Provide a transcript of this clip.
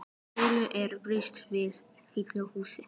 Þórhildur, er búist við fullu húsi?